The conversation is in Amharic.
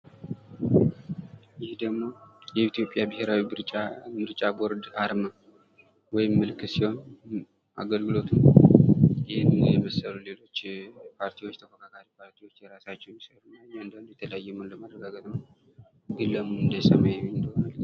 ይህ ደሞ የኢትዮጵያ ብሄራው ምርጫ ቦርድ አርማ ፤ ወይም ምልክት ሲሆን አገልግሎቱም ይህን የመሰሉ ሌሎች ተፎካካሪ ፓርቲዎች የተለያዩ መሆኑን ለማረጋገጥ ነው። ግን ለመሆኑ እንዴት ሰመያዊ ሊሆን ቻለ?